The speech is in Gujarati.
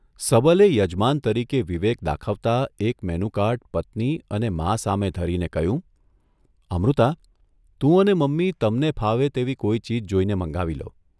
' સબલે યજમાન તરીકે વિવેક દાખવતા એક મેનુકાર્ડ પત્ની અને મા સામે ધરીને કહ્યું 'અમૃતા, તું અને મમ્મી તમને ફાવે તેવી કોઈ ચીજ જોઇને મંગાવી લો.